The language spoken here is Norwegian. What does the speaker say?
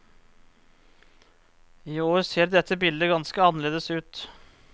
I år ser dette bildet ganske annerledes ut.